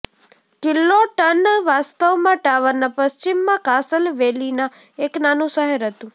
કિલ્લોટન વાસ્તવમાં ટાવરના પશ્ચિમમાં કાસલ વેલીના એક નાનું શહેર હતું